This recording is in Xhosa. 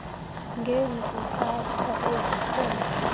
ngeenkcukacha ezithe vetshe